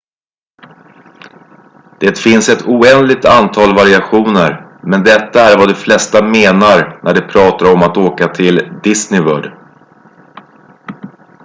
"det finns ett oändligt antal variationer men detta är vad de flesta menar när de pratar om att "åka till disney world"".